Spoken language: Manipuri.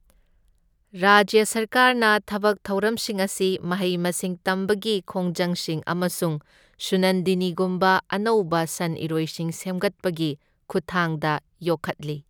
ꯔꯥꯖ꯭ꯌ ꯁꯔꯀꯥꯔꯅ ꯊꯕꯛ ꯊꯧꯔꯝꯁꯤꯡ ꯑꯁꯤ ꯃꯍꯩ ꯃꯁꯤꯡ ꯇꯝꯕꯒꯤ ꯈꯣꯡꯖꯪꯁꯤꯡ ꯑꯃꯁꯨꯡ ꯁꯨꯅꯟꯗꯤꯅꯤꯒꯨꯝꯕ ꯑꯅꯧꯕ ꯁꯟ ꯏꯔꯣꯏꯁꯤꯡ ꯁꯦꯝꯒꯠꯄꯒꯤ ꯈꯨꯠꯊꯥꯡꯗ ꯌꯣꯛꯈꯠꯂꯤ꯫